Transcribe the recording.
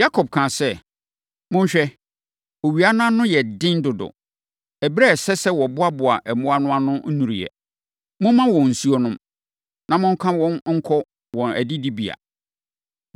Yakob kaa sɛ, “Monhwɛ. Owia no ano yɛ den dodo. Ɛberɛ a ɛsɛ sɛ wɔboaboa mmoa no ano nnuruiɛ. Momma wɔn nsuo nnom, na monka wɔn nkɔ wɔn adidibea.”